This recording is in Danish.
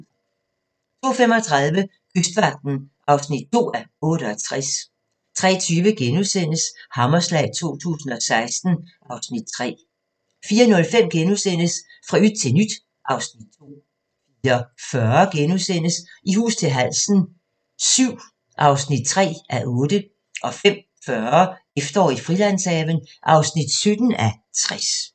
02:35: Kystvagten (2:68) 03:20: Hammerslag 2016 (Afs. 3)* 04:05: Fra yt til nyt (Afs. 2)* 04:40: I hus til halsen VII (3:8)* 05:40: Efterår i Frilandshaven (17:60)